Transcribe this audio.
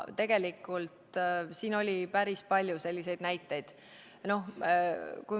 Tegelikult oli päris palju selliseid näiteid.